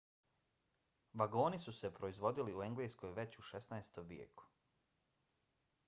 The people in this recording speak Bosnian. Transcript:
vagoni su se proizvodili u engleskoj već u 16. vijeku